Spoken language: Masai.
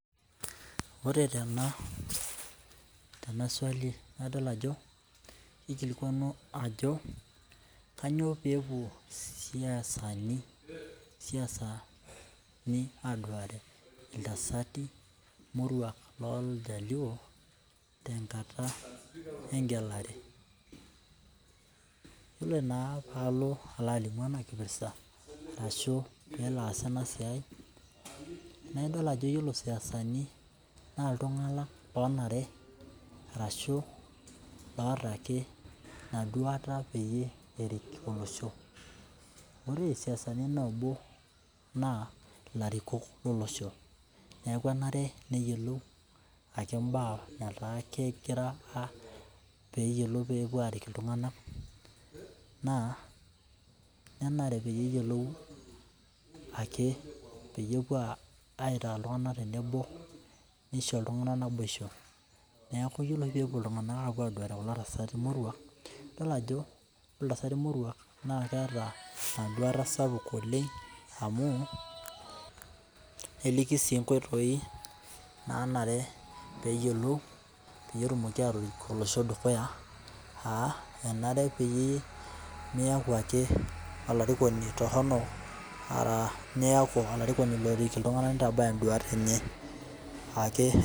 Ore tena tena swali, kadol ajo kikilikuanu ajo kainyoo peepuo isasani isasanu aduare iltasati muruak loo ijaluo tenkata egalare. Iyiolo naa palo alimuena kipirta ashu peelo aasa ena siai naa idol ajo ore isasani naa iltungana lonare ashu loota ake ina duare pee eret olosho. Ore isiasani naa ilarikok lolosho. Neeku enare ake peyiolou ake iba etaa kegira arik peyiolou peepuo aliki iltungana naa nenare peyie eyiolou ake peyie epuo aitaa iltungana tenebo nisho iltungana naboisho. Neeku iyiolopeepuo iltungana aduare kulo tasati morua idol ajo ore kulo tasati morua naa keeta eduata sapuk oleng amu eleki siii inkoitoi nanare peyiolo pee etumoki atorik olosho dukuya aa enare peyie miyaku ake olarikoni toronok aku olarikoni lorik iltungana nitabaya iduat enyenak ake.